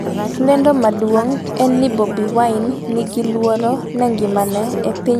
lendo maduong' en ni Bobi Wine 'ni gi luoro ne ngimane' e piny Uganda seche 9 mokalo